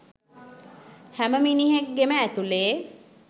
හැම මිනිහෙක්ගෙම ඇතුලේ